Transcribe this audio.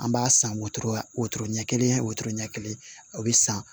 An b'a san wotoro wotoro ɲɛ kelen wotoro ɲɛ kelen o be san